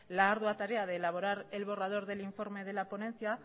la ardua tarea de elaborar el borrador del informe de la ponencia